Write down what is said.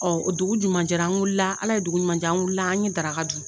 Ɔ dugu ɲuman jɛra an wulila Ala ye dugu ɲuman jɛ an wulila an ye daraka dun